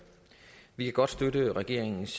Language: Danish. vi kan godt støtte regeringens